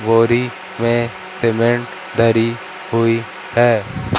बोरी में सीमेंट धरी हुई है।